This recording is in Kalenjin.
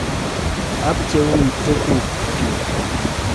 Apcheun tuguk chuk.